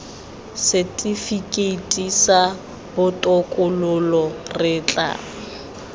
setifikeiti sa botokololo re tla